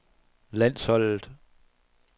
landsholdet